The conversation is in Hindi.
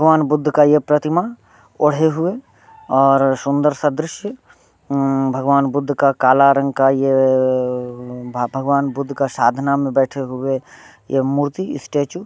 भगवान बुद्ध का यह प्रतिमा ओड हुए और सुंदर सा दृश्य हम्म भगवान बुद्ध का काला रंग का यह भगवान बुद्ध के साधन में बैठे हुए यह मूर्ति स्टैचू ।